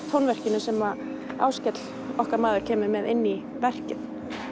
tónverkinu sem Áskell okkar maður kemur með inn í verkið